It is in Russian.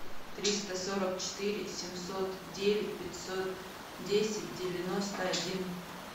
триста сорок четыре семьсот девять пятьсот десять девяносто один